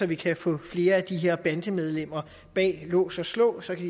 vi kan få flere af de her bandemedlemmer bag lås og slå så kan